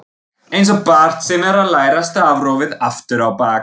Einsog barn sem er að læra stafrófið aftur á bak.